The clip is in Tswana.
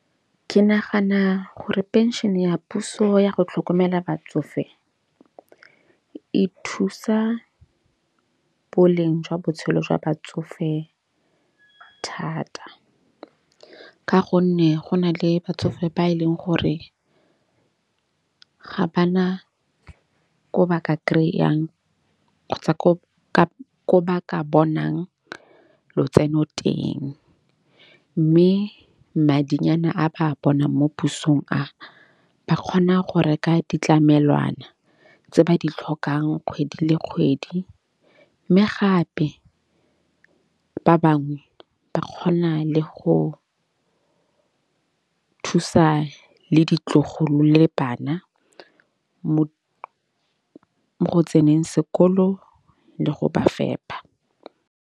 Ke nagana gore phenšene ya puso yago tlhokomela batsofe e thusa boleng jwa botshelo jwa batsofe thata. Ka gonne go na le batsofe ba e leng gore ga ba na ko ba ka kry-ang kgotsa ko ba ka bonang lotseno teng. Mme madinyana a ba bonang mo pusong a ba kgona go reka ditlamelwana tse ba di tlhokang kgwedi le kgwedi. Mme gape ba bangwe ba kgona le go thusa le ditlogolo le bana mo go tseneng sekolo le go ba fepa.